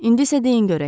İndi isə deyin görək.